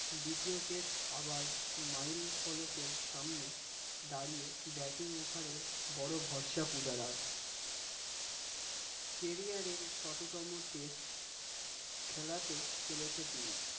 দ্বিতীয় test আবার mile ফলকের সামনে দাঁড়িয়ে batting over এর বড় ভরসা পূজারা carrier test খেলাতে চলেছে তিনি